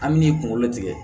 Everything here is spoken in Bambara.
An me n'i kunkolo tigɛ